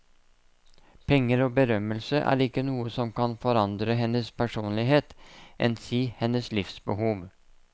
Penger og berømmelse er ikke noe som kan forandre hennes personlighet, enn si hennes livsbehov.